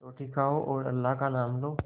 रोटी खाओ और अल्लाह का नाम लो